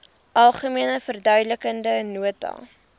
algemene verduidelikende nota